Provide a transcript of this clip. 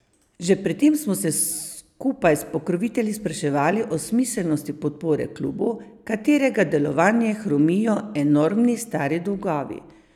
Že pred tem smo se skupaj s pokrovitelji spraševali o smiselnosti podpore klubu, katerega delovanje hromijo enormni stari dolgovi.